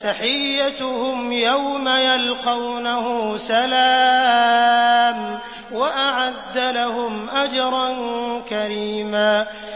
تَحِيَّتُهُمْ يَوْمَ يَلْقَوْنَهُ سَلَامٌ ۚ وَأَعَدَّ لَهُمْ أَجْرًا كَرِيمًا